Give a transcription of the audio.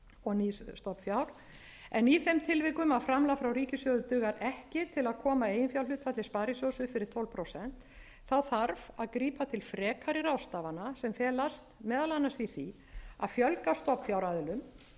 og nýs stofnfjár en í þeim tilvikum að framlag frá ríkissjóði dugar ekki til að koma eiginfjárhlutfalli sparisjóðs upp fyrir tólf prósent þá þarf að grípa til frekari ráðstafana sem felast meðal annars í því að fjölga stofnfjáraðilum það er